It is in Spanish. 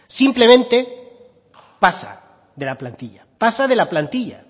simplemente pasa de la plantilla pasa de la plantilla